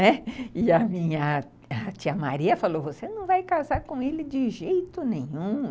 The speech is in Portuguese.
Né, e a minha tia Maria falou, você não vai casar com ele de jeito nenhum.